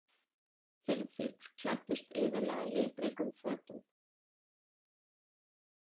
Hirðfífl klæddust iðullega litríkum fötum.